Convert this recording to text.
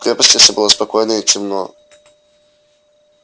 в крепости все было спокойно и темно